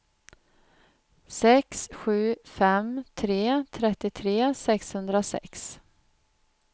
sex sju fem tre trettiotre sexhundrasex